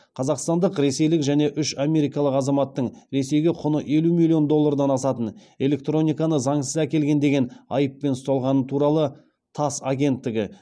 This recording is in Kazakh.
қазақстандық ресейлік және үш америкалық азаматтың ресейге құны елу миллион доллардан асатын электрониканы заңсыз әкелген деген айыппен ұсталғаны туралы тасс агенттігі